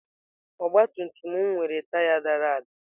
Ọgabtumtum m nwere taya dara ada.